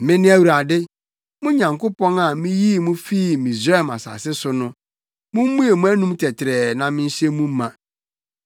Mene Awurade, mo Nyankopɔn a miyii mo fii Misraim asase so no. Mummue mo anom tɛtrɛɛ na mɛhyɛ mu ma.